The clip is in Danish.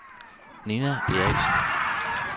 Ninna Eriksen